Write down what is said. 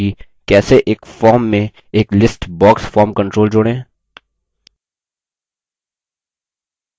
संक्षेप में: हमने सीखा कि कैसे: एक form में एक list box form control जोड़ें